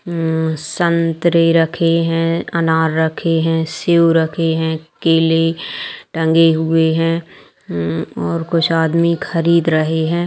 मम संतरे रखें हैंअनार रखें हैं सेब रखे हैं केले टंगे हुए हैं | मम और कुछ आदमी खरीद रहें है।